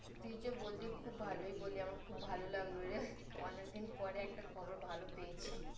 তুই যে বললি খুব ভালোই বললি। আমার খুব ভালো লাগলো রে, অনেকদিন পরে একটা খবর ভালো পেয়েছি।